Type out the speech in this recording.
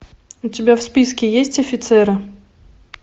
у тебя в списке есть офицеры